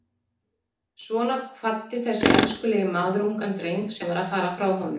Svona kvaddi þessi elskulegi maður ungan dreng sem var að fara frá honum.